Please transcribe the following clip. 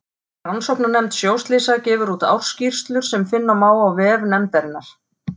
Rannsóknarnefnd sjóslysa gefur úr ársskýrslur sem finna má á vef nefndarinnar.